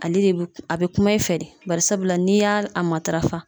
Ale de a be kuma i fɛ de bari sabula n'i y'a matarafa